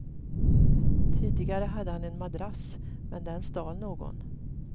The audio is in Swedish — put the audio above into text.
Tidigare hade han en madrass, men den stal någon.